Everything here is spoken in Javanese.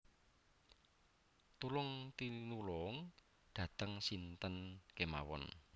Tulung pinulung dateng sinten kemawan